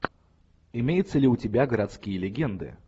имеется ли у тебя городские легенды